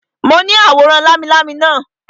Mo ní àwòrán lámilámi naa